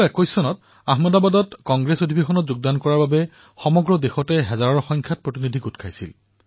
১৯২১ চনত আহমেদাবাদত কংগ্ৰেছৰ অধিৱেশনত অংশগ্ৰহণ কৰাৰ বাবে সমগ্ৰ দেশৰ সহস্ৰাধিক প্ৰতিনিধি সমবেত হৈছিল